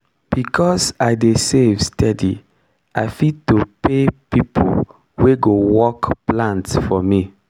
because i dey save steady i fit to pay people wey go work plant for me.